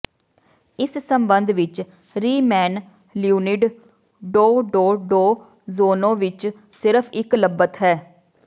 ਇਸ ਸਬੰਧ ਵਿਚ ਰੀਮੈਨ ਲਿਓਨੀਡ ਡੌਡੌਡੋਜੋਨੋਵਿਚ ਸਿਰਫ ਇਕ ਲੱਭਤ ਹੈ